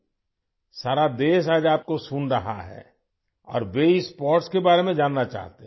آج پورا ملک آپ کو سن رہا ہے اور وہ اس کھیل کے بارے میں جاننا چاہتے ہیں